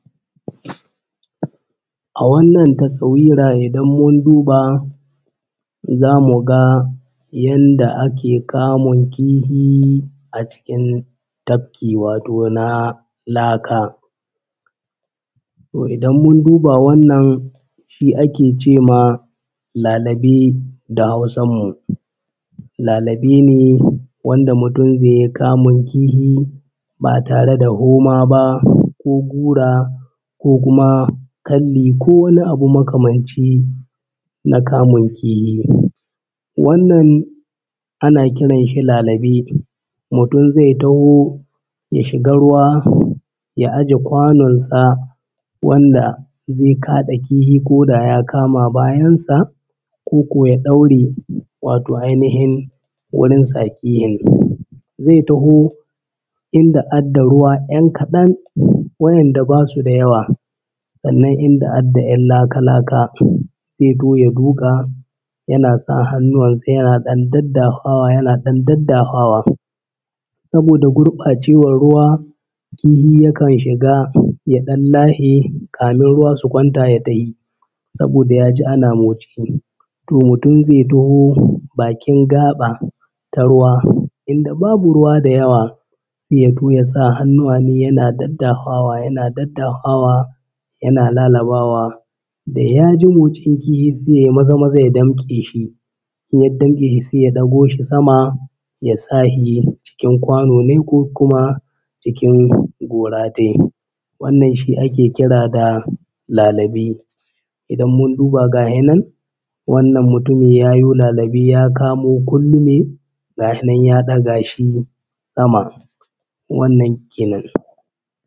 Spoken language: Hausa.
A wannan tasawira idan mun duba za mu ga yanda ake kamun kihi a cikin tabki wato na laka, toh idan mun duba wannan shi ake ce ma lalabe da Hausan mu. Lalabe ne wanda mutum zai yi kamun kihi ba tare da koma ba ko gura ko kuma kalli ko wani abu makamanci na kamun kifi. Wannan ana kiran shi lalabe mutum zai taho ya shiga ruwa ya aje kwanon sa wanda zai kaɗa kihi koda ya kama bayan sa koko ya ɗaure wato ainihin wurin tsakihin. Zai taho inda ad da ruwa ‘yan kaɗan wurin da basu da yawa sannan inda ad da ɗan laka-laka ya taho ya duƙa yana sa hannuwan sa yana ɗan daddahwawa yana ɗan daddahwawa. Saboda gurɓcewar ruwa kihi yak an shiga ya ɗan lahe amin ruwa su kwanta ya tahi saboda ya ji ana motsi. Toh mutum zai taho bakin gaɓa ta ruwa inda babu ruwa da yawa sai ya taho ya sa hannuwa nai yana daddahwawa yana daddahwawa yana lalabawa da ya ji matsin kihi sai ya yi maza-maza ya damƙe shi in ya damƙe shi sai ya ɗago shi sama ya sa shi cikin kwano ne ko kuma cikin gora tai. Wannan shi ake kira da lalibe idan mun duba gahi nan wannan mutumin ya yo lalabe ya kamo kundume ga hi nan ya ɗaga shi sama wannan kenan.